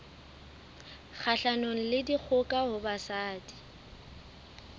kgahlanong le dikgoka ho basadi